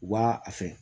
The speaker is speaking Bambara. U b'a a fɛ